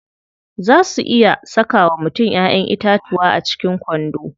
Zaa su iya saka wa mutum Ƴaƴan itatuwa a cikin kwando.